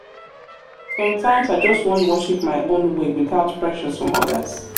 sometimes i just wan worship my own way without pressure from odirs.